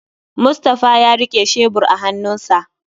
Mustapha ya rike shebur a hannunsa